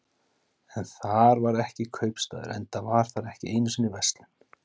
En þar var ekki kaupstaður, enda var þar ekki einu sinni verslun.